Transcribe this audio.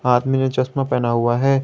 आदमी ने चश्मा पहना हुआ है।